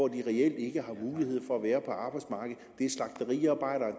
reelt ikke har mulighed for at være på arbejdsmarkedet det er slagteriarbejderen